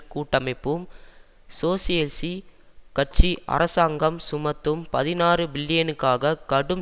கூட்டமைப்பும் சோசியஸி கட்சி அரசாங்கம் சுமத்தும் பதினாறு பில்லியனுக்கான கடும்